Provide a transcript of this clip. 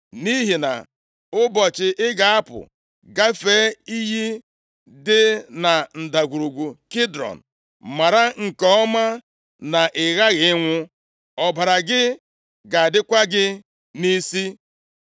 Nʼihi na ụbọchị ị ga-apụ gafee iyi dị na Ndagwurugwu Kidrọn, mara nke ọma na ị ghaghị ịnwụ. Ọbara gị ga-adịkwa gị nʼisi.”